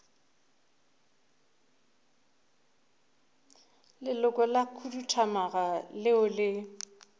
leloko la khuduthamaga leo le